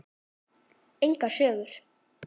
Engar sögur.